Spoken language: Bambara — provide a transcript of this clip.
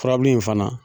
Furabulu in fana